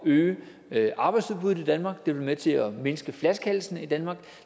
øge arbejdsudbuddet i danmark det vil være med til at mindske flaskehalsene i danmark